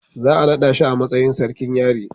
za a nada mishi matsayin sarkin yari